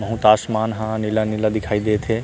बहुत आसमान ह नीला-नीला दिखाई देत हे।